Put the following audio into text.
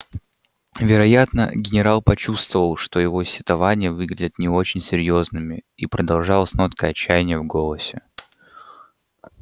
вероятно генерал почувствовал что его сетования выглядят не очень серьёзными и продолжал с ноткой отчаяния в голосе